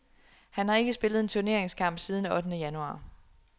Han har ikke spillet en turneringskamp siden ottende januar.